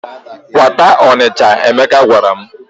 "Kwata Ọnịcha," Emeka gwara m.